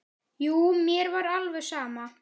Jú, mér var alveg sama.